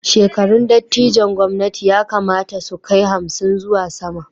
Shekarun dattijon gwamnati ya kamata su kai hamsin zuwa sama